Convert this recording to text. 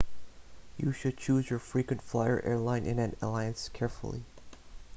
you should choose your frequent flyer airline in an alliance carefully